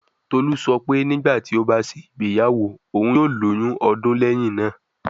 Tolu sọ pe nigbati o ba ṣe igbeyawo, oun yoo loyun 2 ọdun lẹhin naa